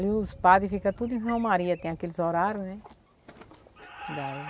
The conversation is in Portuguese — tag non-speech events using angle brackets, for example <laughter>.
Ali os padres ficam tudo em romaria, tem aqueles horários, né? <unintelligible>